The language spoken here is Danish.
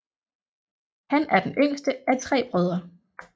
Han er den yngste af tre brødre